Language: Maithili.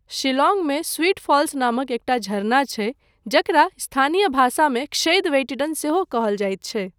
शिलांगमे स्वीट फॉल्स नामक एकटा झरना छै, जकरा स्थानीय भाषामे क्षैद वेइटडेन सेहो कहल जाइत छै।